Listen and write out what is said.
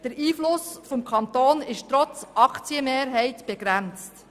Der Einfluss des Kantons ist trotz Aktienmehrheit begrenzt.